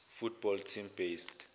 football team based